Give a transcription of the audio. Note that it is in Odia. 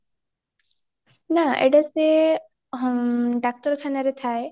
ନାଁ ଏଇଟା ସେ ହ୍ମ ଡାକ୍ତର ଖାନାରେ ଥାଏ